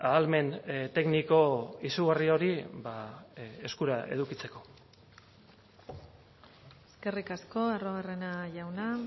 ahalmen tekniko izugarri hori eskura edukitzeko eskerrik asko arruabarrena jauna